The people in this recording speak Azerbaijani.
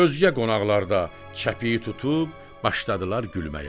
Özgə qonaqlar da çəpiyi tutub başladılar gülməyə.